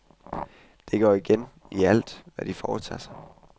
Det går igen i alt, hvad de foretager sig.